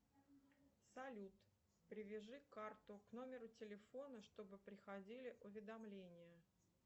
салют привяжи карту к номеру телефона чтобы приходили уведомления